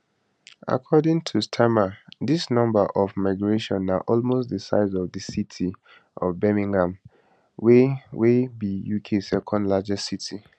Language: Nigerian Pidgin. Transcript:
according to starmer dis number of migration na almost di size of di city of birmingham wey wey be uk second largest city